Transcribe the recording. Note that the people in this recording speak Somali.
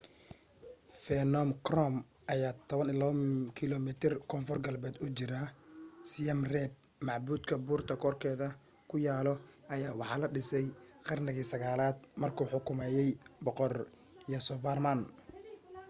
phnom krom ayaa 12 kiloomiitar koonfur galbeed u jiraa siem reap macbudkan buurta korkeeda ku yaalo ayaa waxaa la dhisay qarniga 9aad markuu xukumaayay boqor yasovarman